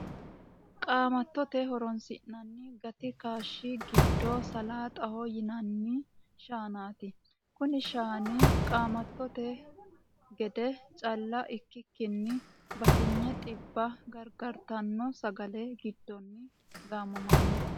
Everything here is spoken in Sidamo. Qaamattote horoonsi'nanni gati kaashshi giddo salaaxaho yinanni shaanaati. Konne shaana qaamattote gede cal ikkikkinni batinye dhibba gargartanno sagalla giddono gaammanni.